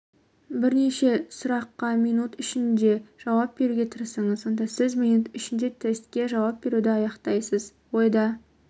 бірнеше сұраққа минут ішінде жауап беруге тырысыңыз сонда сіз минут ішінде тестке жауап беруді аяқтайсыз ойда